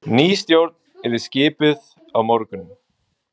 Ný stjórn yrði skipuð á morgun